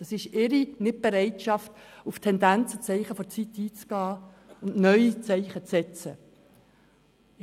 Es ist ihre Nicht-Bereitschaft, auf Tendenzen und Zeichen der Zeit einzugehen und neue Zeichen zu setzen.